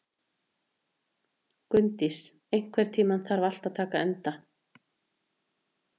Gunndís, einhvern tímann þarf allt að taka enda.